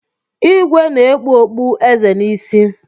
Ìgwè na-ekpu okpu eze n'isi.